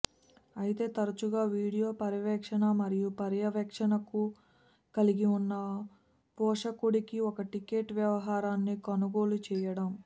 అయితే తరచుగా వీడియో పర్యవేక్షణ మరియు పర్యవేక్షణను కలిగి ఉన్న పోషకుడికి ఒక టికెట్ వ్యవహారాన్ని కొనుగోలు చేయడం